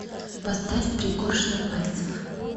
поставь пригоршня пальцев